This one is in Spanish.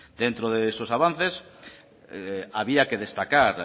dentro de esos avances había que destacar